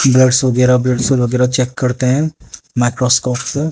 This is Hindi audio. ड्रग्स वगैरा ब्लड्स वगैरा चेक करते हैं माइक्रोस्कोप से--